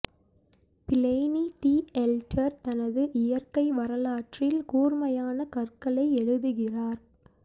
Pliny the Elder தனது இயற்கை வரலாற்றில் கூர்மையான கற்களை எழுதுகிறார்